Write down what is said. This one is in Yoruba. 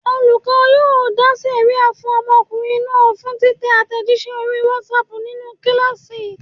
Olùkọ́ náà yóò dá sẹ̀ríà fún ọmọkùnrin náà fún títẹ àtẹ̀jíṣẹ́ orí WhatsApp nínú kíláàsì.